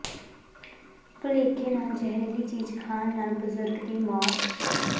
ਭੁਲੇਖੇ ਨਾਲ ਜ਼ਹਿਰੀਲੀ ਚੀਜ਼ ਖਾਣ ਨਾਲ ਬਜ਼ੁਰਗ ਦੀ ਮੌਤ